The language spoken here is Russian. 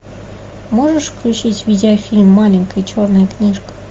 можешь включить видеофильм маленькая черная книжка